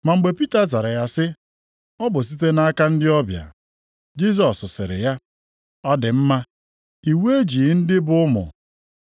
Ma mgbe Pita zara ya sị, “Ọ bụ site nʼaka ndị ọbịa.” Jisọs sịrị ya, “Ọ dị mma. Iwu ejighị ndị bụ ụmụ.